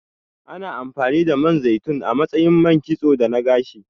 Ana amfani da Man zaitun a matsayin man kitso da na gashi.